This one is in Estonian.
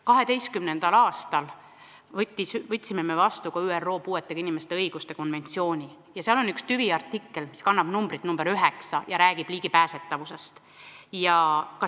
2012. aastal võtsime vastu ÜRO puuetega inimeste õiguste konventsiooni ja seal on üks tüviartikkel, mis kannab numbrit 9 ja räägib juurdepääsetavusest.